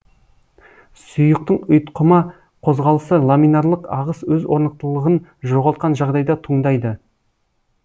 сұйықтың ұйтқыма қозғалысы ламинарлық ағыс өз орнықтылығын жоғалтқан жағдайда туындайды